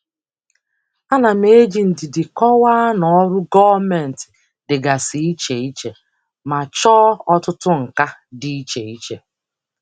Ana m eji ndidi kọwaa na ọrụ gọọmentị dịgasị iche iche ma chọọ ọtụtụ nka dị iche iche.